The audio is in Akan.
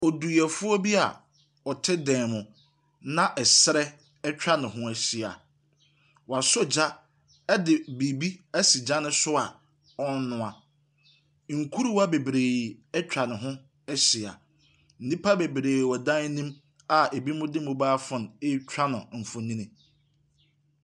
Oduyɛfoɔ bi a ɔte dan mu, na srɛ atwa ne ho ahyia. Wasɔ gya de biribi asi gya no so a ɔrenoa. Nkuruwa bebree atwa ne ho ahyia. Nnipa bebree wɔ dan no mu a ebi de mobile phone retwa no mfonin.